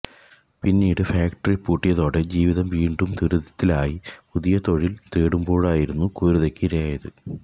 പിന്നീട് ഫാക്ടറി പൂട്ടിയതോടെ ജീവിതം വീണ്ടും ദുരിതത്തിലായി പുതിയ തൊഴില് തേടുമ്പോഴായിരുന്നു ക്രൂരതയ്ക്ക് ഇരയായത്